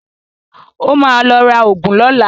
Ó ma lọ ra ògùn lọ́la